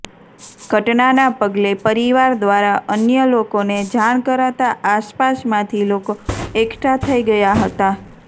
ઘટનાના પગલે પરિવાર દ્વારા અન્ય લોકોને જાણ કરાતા આસપાસમાંથી લોકો એકઠા થઈ ગયા હતા